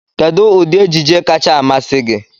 Kedụ ụdị ejije kacha amasị gị?